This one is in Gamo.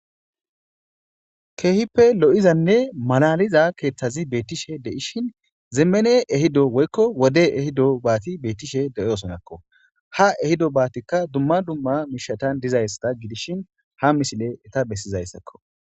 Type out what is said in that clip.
Keehippe lo'izanne malaliza keeththazi beettishe de'ishin zeemene ehido woykko wode ehido baati beettishe deyosonakko ha ehido baatikka dumma dumma miishatan dizayssa gidishin ha misile eta bessizayssakko.